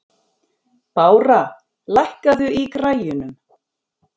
Bára, lækkaðu í græjunum.